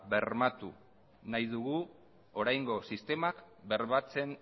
ba bermatu nahi dugu oraingo sistemak bermatzen